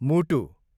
मुटु